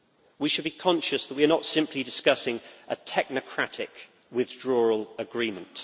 We should be conscious that we are not simply discussing a technocratic withdrawal agreement